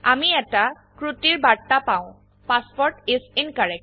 আমি এটা ত্ৰুটিৰ বাৰ্তা পাও পাছৱৰ্ড ইচ incorrect